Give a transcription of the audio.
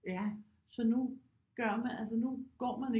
Så nu gør man altså nu går man ikke